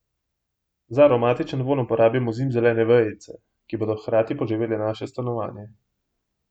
Za aromatičen vonj uporabimo zimzelene vejice, ki bodo hkrati poživele naše stanovanje.